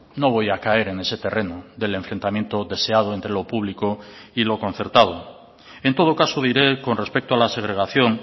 no voy a caer en ese terreno del enfrentamiento deseado entre lo público y lo concertado en todo caso diré con respecto a la segregación